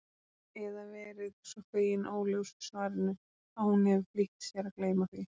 Eða verið svo fegin óljósu svarinu að hún hefur flýtt sér að gleyma því.